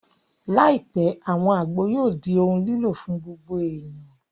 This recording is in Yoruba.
Láìpẹ́, àwọn àgbo yóò di ohun lílò fún gbogbo èèyàn